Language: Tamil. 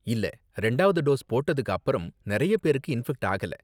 இல்ல, ரெண்டாவது டோஸ் போட்டதுக்கு அப்பறம் நிறைய பேரு இன்ஃபெக்ட் ஆகல.